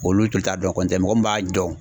Olu tun t'a dɔn kɔntɛ mɔgɔ min b'a dɔn.